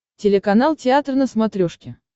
телеканал театр на смотрешке